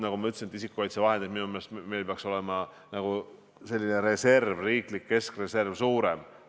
Nagu ma ütlesin, meil peaks isikukaitsevahendite riiklik keskreserv suurem olema.